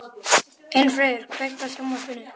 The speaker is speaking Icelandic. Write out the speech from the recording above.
Einfríður, kveiktu á sjónvarpinu.